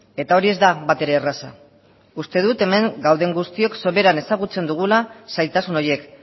eta hori ez da batere erraza uste dut hemen gauden guztiok soberan ezagutzen dugula zailtasun horiek